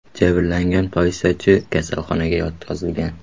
Jabrlangan politsiyachi kasalxonaga yotqizilgan.